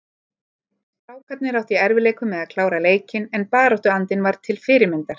Strákarnir áttu í erfiðleikum með að klára leikinn en baráttuandinn var til fyrirmyndar.